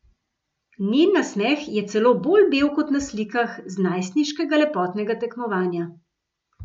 Njen nasmeh je celo bolj bel kot na slikah z najstniškega lepotnega tekmovanja.